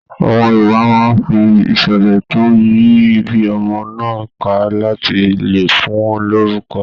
Àwọn Yorùbá máa n fí iṣẹlẹ to yìí ibí ọmọ náà ká láti lè fún lórúkọ̀.